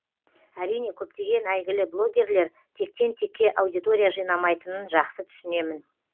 әрине көптеген әйгілі блогерлер тектен текке аудитория жинамайтынын жақсы түсінемін